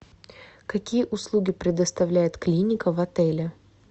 какие услуги предоставляет клиника в отеле